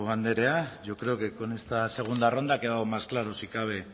andrea yo creo que con esta segunda ronda ha quedado más claro si cabe